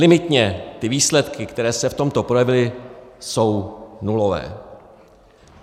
Limitně ty výsledky, které se v tomto projevily, jsou nulové.